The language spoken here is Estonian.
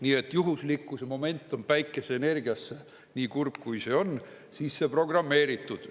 Nii et juhuslikkuse moment on päikeseenergiasse, nii kurb, kui see on, sisse programmeeritud.